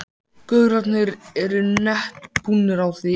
gaurarnir eru nett búnir á því.